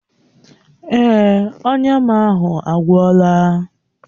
Èè, ọnya m ahụ agwọla.